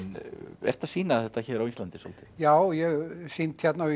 ertu að sýna þetta hér á Íslandi svolítið já ég hef sýnt hérna